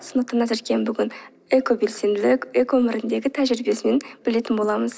назеркенің бүгін экобелсенділік экоөміріндегі тәжірибесінен білетін боламыз